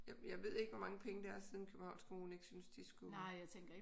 Jeg ved ikke hvor mange penge det er siden Københavns kommune ikke synes de skulle